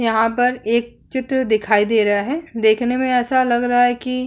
यहाँ पर एक चित्र दिखाई दे रहा है देखने में ऐसा लग रहा है की --